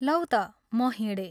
लौ ता म हिंडे।